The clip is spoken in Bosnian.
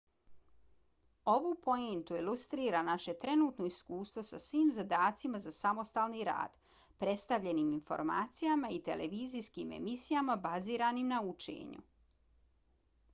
ovu poentu ilustrira naše trenutno iskustvo sa svim zadacima za samostalni rad predstavljenim informacijama i televizijskim emisijama baziranim na učenju